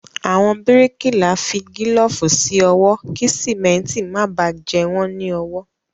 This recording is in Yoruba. Àwọn bíríkìlá fi gílọ̀fù sí ọwọ́ kí síméntì máa bá jẹ wọ́n ní ọwọ